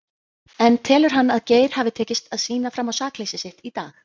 En telur hann að Geir hafi tekist að sýna fram á sakleysi sitt í dag?